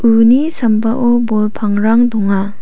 uni sambao bol pangrang donga.